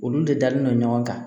Olu de dalen don ɲɔgɔn kan